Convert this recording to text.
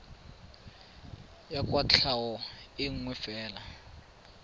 ya kwatlhao e nngwe fela